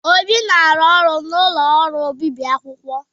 Obi na-arụ n'ụlọ ọrụ obibi akwụkwọ.